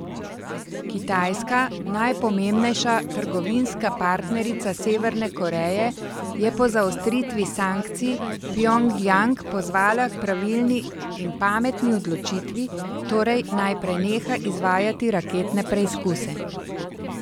Kitajska, najpomembnejša trgovinska partnerica Severne Koreje, je po zaostritvi sankcij Pjongjang pozvala k pravilni in pametni odločitvi, torej naj preneha izvajati raketne preizkuse.